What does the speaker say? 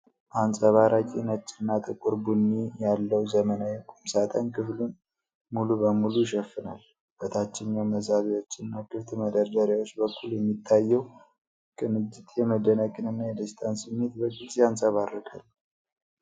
አንጸባራቂ ነጭና ጥቁር ቡኒ ያለው ዘመናዊ ቁምሳጥን ክፍሉን ሙሉ በሙሉ ይሸፍናል። በታችኛው መሳቢያዎችና ክፍት መደርደሪያዎች በኩል የሚታየው ቅንጅት የመደነቅንና የደስታን ስሜት በግልጽ ያንጸባርቃል።